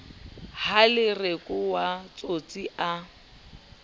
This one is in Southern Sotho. ha lereko wa tsotsi a